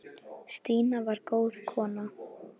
Stína var góð kona.